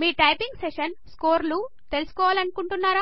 మీ typing session స్కోర్లు తెలుసుకోవాలనుకుంటున్నారా